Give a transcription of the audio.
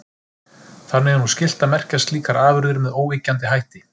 Þannig er nú skylt að merkja slíkar afurðir með óyggjandi hætti.